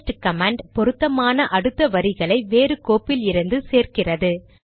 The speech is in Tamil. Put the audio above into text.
பேஸ்ட் கமாண்ட் பொருத்தமான அடுத்த வரிகளை வேறு கோப்பிலிருந்து சேர்க்கிறது